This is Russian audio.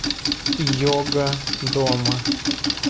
йога дома